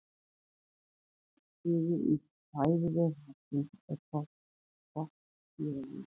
einn liður í fæðuvef hafsins er botndýralífið